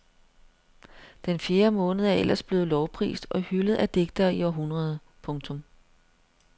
Den fjerde måned er ellers blevet lovprist og hyldet af digtere i århundreder. punktum